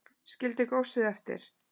Skildi góssið eftir